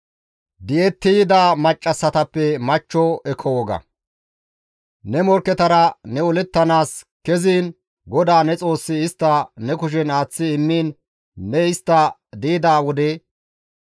Ne morkketara ne olettanaas keziin GODAA ne Xoossi istta ne kushen aaththi immiin ne istta di7ida wode,